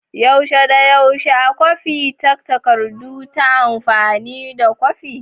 Yaushe ya dace a kwafi takardu ta amfani da kwafi?